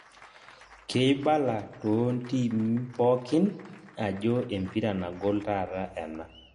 Keibala toontim pookin ajo empira nagol taata ena